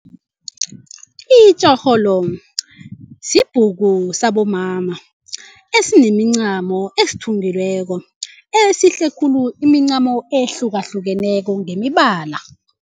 Itjorholo sibhuku sabomama esinemincamo esithungiweko esihle khulu imincamo ehlukahlukeneko ngemibala.